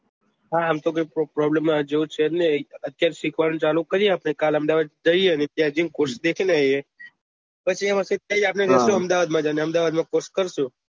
હા એમ તો problem જેવું છે જ નહિ અત્યારે શીખ વાનું ચાલુ કરીએ કાલે અહેમદાબાદ જઈ એ ને ત્યાં જઈ ને course દેખીને આવીએ પછી ત્યાં જઈશું ને ત્યાં જઈ ને course કરીશું